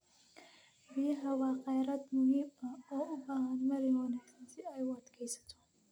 Biyaha waa kheyraad muhiim ah oo u baahan maarayn wanaagsan si ay u adkeysato.